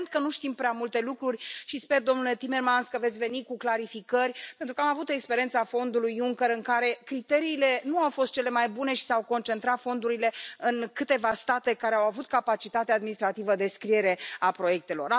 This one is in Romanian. Evident că nu știm prea multe lucruri și sper, domnule Timmermans, că veți veni cu clarificări, pentru că am avut experiența Fondului Juncker, în care criteriile nu au fost cele mai bune și s au concentrat fondurile în câteva state care au avut capacitatea administrativă de scriere a proiectelor.